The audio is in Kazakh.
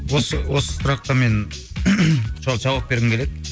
осы осы сұраққа мен жауап бергім келеді